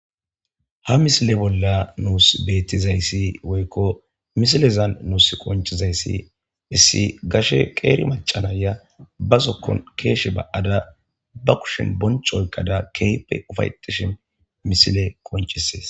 Ha missile bolla nusi bettizayssi woykko missilezan nusi qonccizayssi issi gashe qeeri macca na'iya ba zookon keshshe ba7ada ba kushshen boncco oykkada kehippe uffa7etishin missiley qonccises.